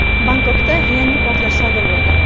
Bangkokda yangi portlash sodir bo‘ldi.